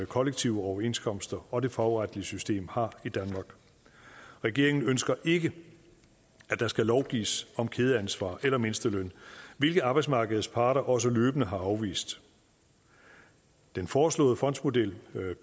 kollektive overenskomster og det fagretlige system har i danmark regeringen ønsker ikke at der skal lovgives om kædeansvar eller mindsteløn hvilket arbejdsmarkedets parter også løbende har afvist den foreslåede fondsmodel